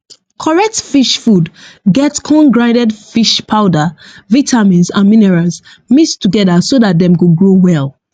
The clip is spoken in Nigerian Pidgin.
correct fish food get corn grinded fish powder vitamins and minerals mix together so that them go grow well